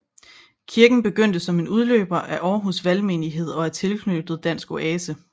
Kirken begyndte som en udløber af Århus Valgmenighed og er tilknyttet DanskOase